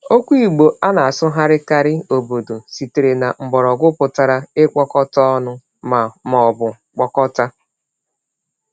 Okwu Igbo a na-asụgharịkarị “obodo” sitere na mgbọrọgwụ pụtara “ịkpọkọta ọnụ” ma ma ọ bụ “kpọkọta.”